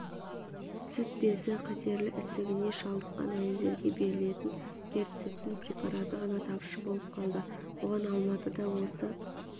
сүт безі қатерлі ісігіне шалдыққан әйелдерге берілетін герцептин препараты ғана тапшы болып қалды бұған алматыда осы